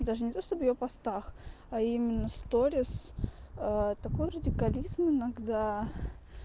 даже не то чтобы в её постах а именно сторис такой радикализм иногда